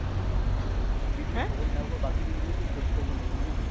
ছুটির দিনে খবর নেওয়ার পর বাকি দিন গুলোই তো খোঁজ খবর নেব না ma'am!